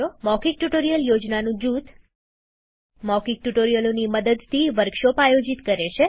મૌખિક ટ્યુટોરીયલ યોજનાનું જૂથ મૌખિક ટ્યુટોરીયલની મદદથી વર્કશોપ કરે છે